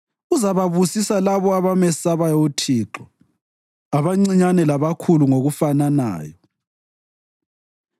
uzababusisa labo abamesabayo uThixo abancinyane labakhulu ngokufananayo.